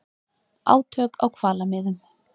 Átök á hvalamiðum